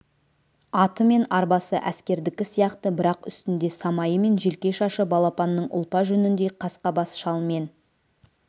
аты мен арбасы әскердікі сияқты бірақ үстінде самайы мен желке шашы балапанның ұлпа жүніндей қасқа бас шал мен